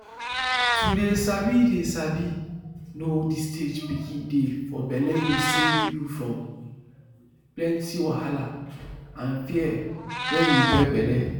to dey sabi dey sabi know the stage pikin dey for bellego save you from plenty wahala and fear wen you get belle.